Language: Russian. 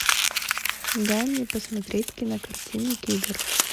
дай мне посмотреть кинокартину кибер